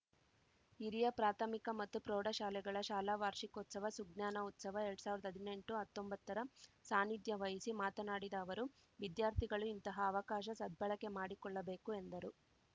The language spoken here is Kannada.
ಹಿರಿಯ ಪ್ರಾಥಮಿಕ ಮತ್ತು ಪ್ರೌಢಶಾಲೆಗಳ ಶಾಲಾ ವಾರ್ಷಿಕೋತ್ಸವ ಸುಜ್ಞಾನ ಉತ್ಸವ ಎರಡ್ ಸಾವಿರ್ದಾ ಹದ್ನೆಂಟುಹತ್ತೊಂಬತ್ತರ ಸಾನಿಧ್ಯ ವಹಿಸಿ ಮಾತನಾಡಿದ ಅವರು ವಿದ್ಯಾರ್ಥಿಗಳು ಇಂತಹ ಅವಕಾಶ ಸದ್ಭಳಕೆ ಮಾಡಿಕೊಳ್ಳಬೇಕು ಎಂದರು